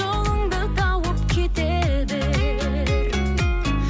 жолыңды тауып кете бер